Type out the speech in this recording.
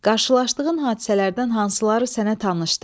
Qarşılaşdığın hadisələrdən hansıları sənə tanışdır?